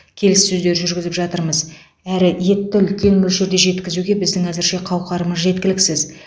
келіссөздер жүргізіп жатырмыз әрі етті үлкен мөлшерде жеткізуге біздің әзірше қауқарымыз жеткіліксіз